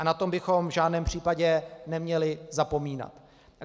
A na to bychom v žádném případě neměli zapomínat.